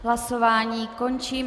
Hlasování končím.